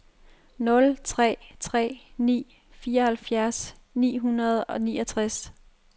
nul tre tre ni fireoghalvfjerds ni hundrede og niogtres